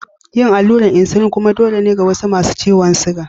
Yin allurar insulin kullum dole ne ga wasu masu ciwon siga.